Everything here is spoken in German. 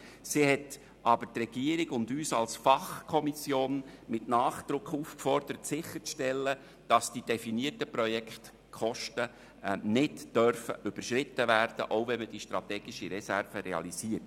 Sie hat aber die Regierung und uns als Fachkommission mit Nachdruck aufgefordert, sicherzustellen, dass die definierten Projektkosten nicht überschritten werden, auch wenn man die strategische Reserve realisiert.